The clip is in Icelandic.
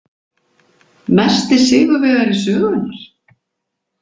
Mesti sigurvegari sögunnar?